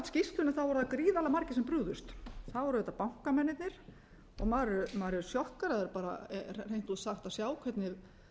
skýrslunni voru það gríðarlega margir sem brugðust það voru auðvitað bankamennirnir og maður er sjokkeraður bara hreint út sagt að sjá hvernig